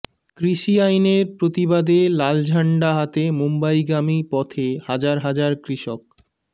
কৃষি আইনের প্রতিবাদে লাল ঝান্ডা হাতে মুম্বাইগামী পথে হাজার হাজার কৃষক